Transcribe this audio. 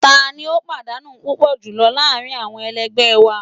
Tani o padanu pupọ julọ laarin awọn ẹlẹgbẹ wa